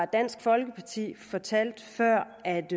dansk folkeparti fortalte før at